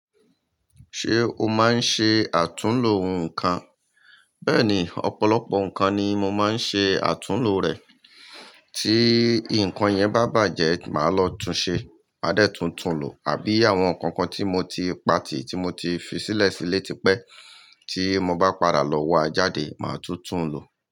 Ṣé o máa ń ṣe àtúnlo nǹkan? Bẹ́ẹ̀ni, ọ̀pọ̀lọpọ̀ nǹkan ni mo máa ń ṣe àtúnlo rẹ̀. Tí nǹkan yẹn bá bàjẹ́, màá lọ tun ṣe. Máa dẹ́ tun tun lò, àbí àwọn kankan tí mo ti pa tì, tí mo ti fi sílẹ̀ sílé tipẹ́ tí mo bá padà lọ wá jáde, màá tún tún lò.